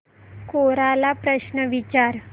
कोरा ला प्रश्न विचार